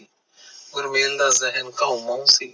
ਗੁਰਮੇਲ ਦਾ ਜ਼ਹਿਨ ਘਾਉ ਮਾਉ ਸੀ